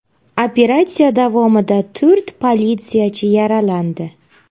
Operatsiya davomida to‘rt politsiyachi yaralandi.